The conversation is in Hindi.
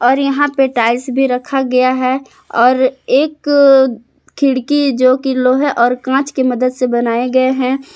और यहां पे टाइल्स भी रखा गया है और एक खिड़की जो कि लोहे और कांच की मदद से बनाए गए हैं।